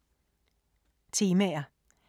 Temaer